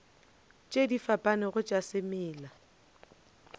tše di fapanego tša semela